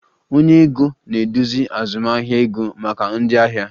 Onye ego na-eduzi azụmahịa ego maka ndị ahịa